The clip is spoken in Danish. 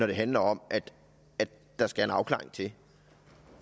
det handler om at der skal en afklaring til